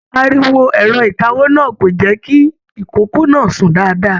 Ariwo ẹrọ ìkáwó náà kò jẹ kìí ìkoko náà sún dáadáa.